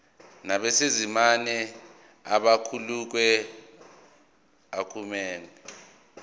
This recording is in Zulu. nabesimame abakhulelwe akumele